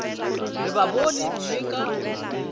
re ba bone mme ka